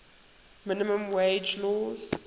minimum wage laws